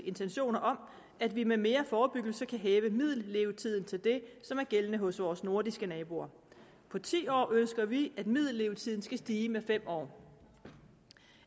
intentioner om at vi med mere forebyggelse kan hæve middellevetiden til det som er gældende hos vores nordiske naboer på ti år ønsker vi at middellevetiden skal stige med fem år